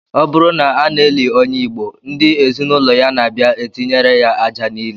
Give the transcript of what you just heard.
Ọ bụrụ na a na-eli onye Igbo, ndị ezinụlọ ya na-abia etinyere ya aja n'ili